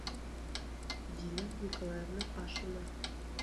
дина николаевна ашина